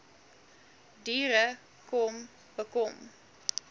diere kom bekom